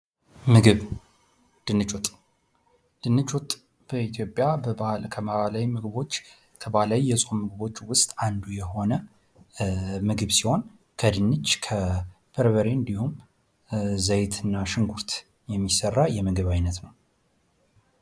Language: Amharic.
ምግብ ድንች ወጥ በኢትዮጵያ ከባህላዊ የፆም ምግቦች ውስጥ አንዱ ሲሆን ከድንች በርበሬ እንዲሁም ዘይትና ሽንኩርት የሚሰራ የምግብ ዓይነት ነው።